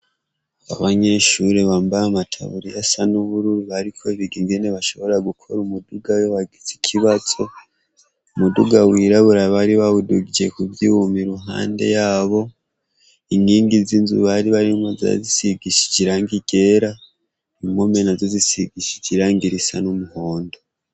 Abanyeshure bambay' amataburiy' as'ubururu bariko big' ingene bashobora gukor' umudug' iyo wagiz' ikibazo, umuduga wirabura bari bawudugije kuvyum' iruhande yabo, inkingi z' inzu baribarimwo zari zisigishij' irangi ryera, impombe nazo zisigishij' irangi risa n'muhondo.